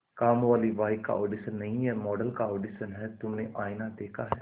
कामवाली बाई का ऑडिशन नहीं है मॉडल का ऑडिशन है तुमने आईना देखा है